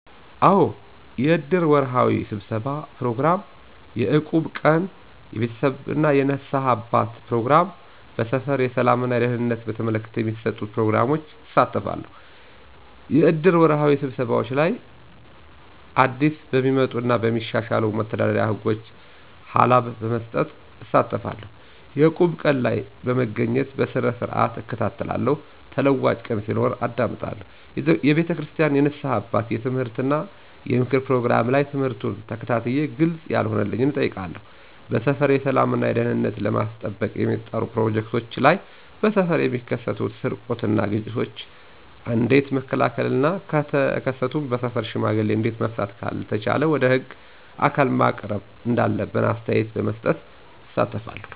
አዎ! የእድር ወርሃዊ ስብሠባ ፕሮግራም፣ የእቁብ ቀን፣ የቤተክርስቲያን የንስሐ አባት ፕሮግራም፣ በሠፈር የሠላም እና ደህንነትን በተመለከተ በሚሠጡን ፕሮግራሞች እሳተፋለሁ። -የእድር ወርሃዊ ስብሰባዎች ላይ አዲስበሚወጡ እና በሚሻሻሉ መተዳደሪያ ህጎች ሀላብ በመስጠት እሳተፋለሁ። - የእቁብ ቀን ላይ በመገኘት በስርዓትእከታተላለሁ ተለዋጭ ቀን ሲኖር አዳምጣለሁ። የቤተክርስቲያን የንስሐ አባት የምትምህርት እና የምክር ፕሮግራም ላይ ትምህርቱን ተከታትየ ግልፅ ያለሆነልኝን እጠይቃለሁ። -በሠፈር የሠላም እና ደህንነትን ለማስጠበቅ በሚጠሩ ፕሮግራሞች ላይ በሠፈር የሚከሠትን ስርቆት እና ግጭቶችን ኦንዴት መከላከል እና ከተከሠቱም በሠፈር ሽማግሌ እዴት መፍታት ካልተቻለ ወደ ህግ አካል ማሳወቅ እንዳለብን አስተያየት በመስጠት እሳተፋለሁ።